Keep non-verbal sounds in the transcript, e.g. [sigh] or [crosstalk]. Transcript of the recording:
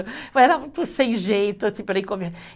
Eu era muito sem jeito assim, para ir [unintelligible]